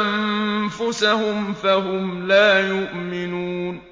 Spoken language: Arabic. أَنفُسَهُمْ فَهُمْ لَا يُؤْمِنُونَ